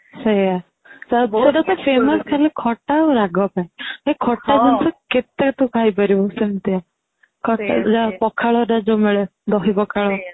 ସେଇଆ ଶେଠୀ ଖାଲି famous ଖଟା ଆଉ ରାଗ ପାଇଁ ଭାଇ ଖଟା ଜିନିଷ କେତେ ତୁ ଖାଇ ପାରିବୁ ସେମିତିଆ ଖଟା ପଖାଳରେ ଯୋଉ ମିଳେ ଦହି ପଖାଳ